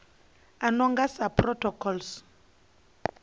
a no nga sa protocols